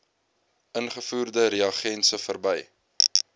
ingevoerde reagense verby